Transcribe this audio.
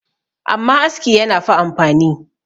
amma aski yana fa amfani